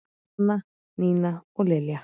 Sanna, Nína og Lilja.